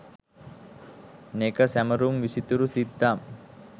නෙක සැමරුම් විසිතුරු සිත්තම්